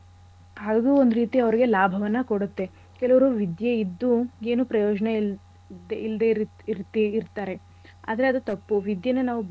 ಹಾಗೂ ಒಂದ್ ರೀತಿ ಲಾಭವನ್ನ ಕೊಡತ್ತೆ. ಕೆಲವ್ರು ವಿದ್ಯೆ ಇದ್ದು ಏನು ಪ್ರಯೋಜನ ಇ~ ಇಲ್ದೆ ಇರ್~ ಇರ್ತಿ~ ಇರ್ತಾರೆ. ಆದ್ರೆ ಅದು ತಪ್ಪು. ವಿದ್ಯೆನ ನಾವು.